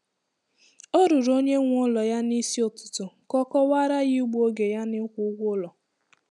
O ruru onye nwe ụlọ ya n'isi ụtụtụ ka ọ kọwaara ya igbu oge ya n'ịkwụ ụgwọ ụlọ.